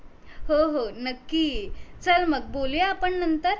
हो हो नक्की ये चल मग बोलूया आपण नंतर